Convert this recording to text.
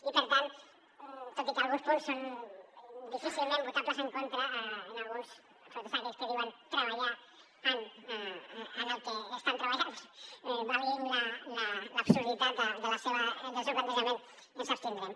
i per tant tot i que alguns punts són difícilment votables en contra en alguns sobretot aquells que diuen treballar en el que estan treballant valgui l’absurditat del seu plantejament ens abstindrem